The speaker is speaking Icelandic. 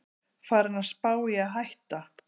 Farinn að spá í að hætta